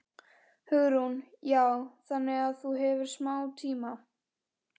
Hugrún: Já, þannig að þú hefur smá tíma?